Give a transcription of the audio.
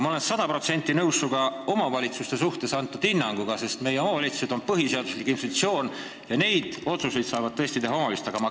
Ma olen aga sada protsenti nõus sinu omavalitsuste kohta antud hinnanguga, sest meie kohalikud omavalitsused on põhiseaduslik institutsioon ja neid otsuseid saavad tõesti teha vaid omavalitsuste volikogud.